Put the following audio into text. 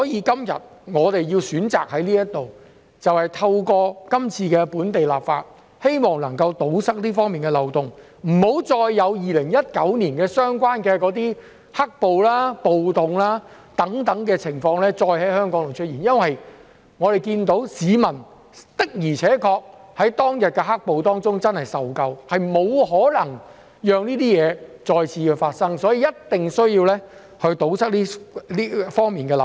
今天我們選擇在這裏透過今次的本地立法，希望能夠堵塞這方面的漏洞，不要再有2019年"黑暴"、暴動等情況再在香港出現，因為我們看到市民的而且確真的受夠當日的"黑暴"，我們不可能讓這些情況再次發生，因此，必須堵塞這方面的漏洞。